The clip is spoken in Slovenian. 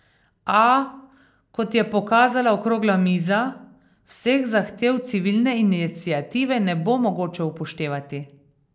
A, kot je pokazala okrogla miza, vseh zahtev civilne iniciative ne bo mogoče upoštevati.